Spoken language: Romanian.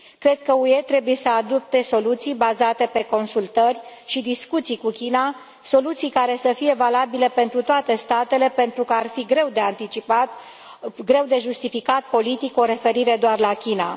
Cred că UE trebuie să adopte soluții bazate pe consultări și discuții cu China, soluții care să fie valabile pentru toate statele pentru că ar fi greu de anticipat, greu de justificat politic o referire doar la China.